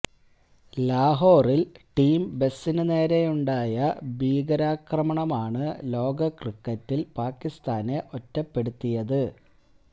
ലാഹോറില് team ബസിനു നേരെയുണ്ടായ ഭീകരാക്രമണമാണ് ലോക ക്രിക്കറ്റില് പാക്കിസ്ഥാനെ ഒറ്റപ്പെടുത്തിയത്